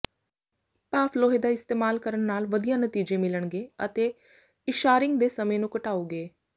ਭਾਫ਼ ਲੋਹੇ ਦਾ ਇਸਤੇਮਾਲ ਕਰਨ ਨਾਲ ਵਧੀਆ ਨਤੀਜੇ ਮਿਲਣਗੇ ਅਤੇ ਇਸ਼ਾੱਰਿੰਗ ਦੇ ਸਮੇਂ ਨੂੰ ਘਟਾਓਗੇ